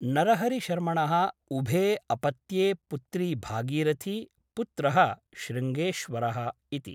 नरहरिशर्मणः उभे अपत्ये पुत्री भागीरथी , पुत्रः शृङ्गेश्वरः इति ।